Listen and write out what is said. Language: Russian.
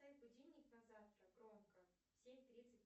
поставь будильник на завтра громко семь тридцать